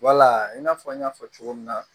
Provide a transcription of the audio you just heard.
Wala in n'a fɔ n y'a fɔ cogo min na